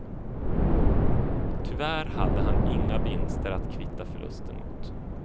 Tyvärr hade han inga vinster att kvitta förlusten emot.